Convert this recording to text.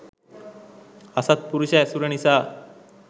අසත්පුරුෂ ඇසුර නිසා